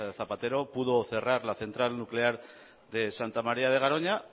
zapatero pudo cerrar la central nuclear de santa maría de garoña